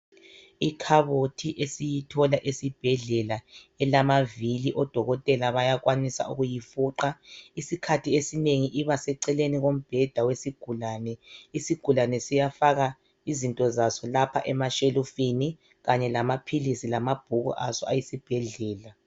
Ikhabothi esiyithola esibhedlela. Izikhathi ezinengi ibaseceleni kombheda wesigulane. lsigulane siyafaka izinto zaso emashelufini, ezigoqela amaphilisi, lamabhuku aso, esibhedlela. Yitafula elamavili le. Ngakho odokotela bayifuqa lula.